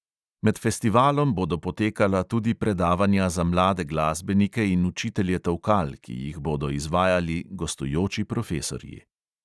Med festivalom bodo potekala tudi predavanja za mlade glasbenike in učitelje tolkal, ki jih bodo izvajali gostujoči profesorji.